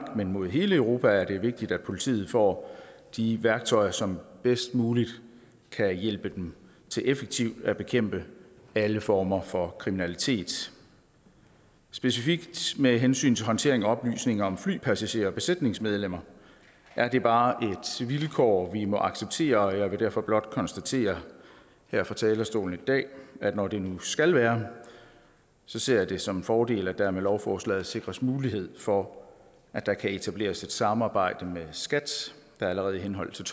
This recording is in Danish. men mod hele europa er det vigtigt at politiet får de værktøjer som bedst muligt kan hjælpe dem til effektivt at bekæmpe alle former for kriminalitet specifikt med hensyn til håndtering af oplysninger om flypassagerer og besætningsmedlemmer er det bare et vilkår vi må acceptere og jeg vil derfor blot konstatere her fra talerstolen i dag at når det nu skal være ser jeg det som en fordel at der med lovforslaget sikres mulighed for at der kan etableres et samarbejde med skat der allerede i henhold